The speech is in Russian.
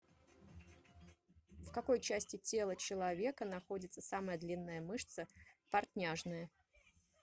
в какой части тела человека находится самая длинная мышца портняжная